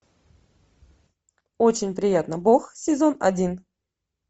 очень приятно бог сезон один